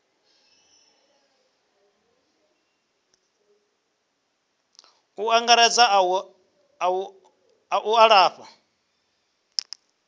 u angaredza a u lafha